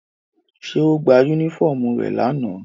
Ṣé ó gba unifọmú rẹ̀ lana?